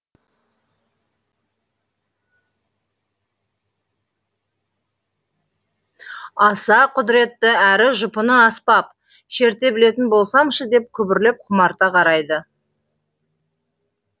аса құдыретті әрі жұпыны аспаб шерте білетін болсамшы деп күбірлеп құмарта қарайды